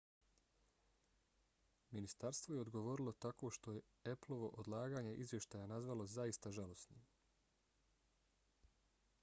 ministarstvo je odgovorilo tako što je appleovo odlaganje izvještaja nazvalo zaista žalosnim